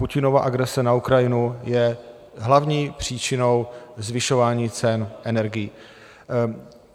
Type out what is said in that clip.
Putinova agrese na Ukrajinu je hlavní příčinou zvyšování cen energií.